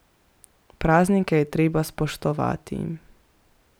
Praznike je treba spoštovati.